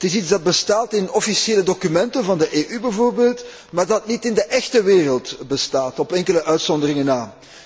Het is iets dat bestaat in officiële documenten van de EU bijvoorbeeld, maar dat niet in de echte wereld bestaat op enkele uitzonderingen na.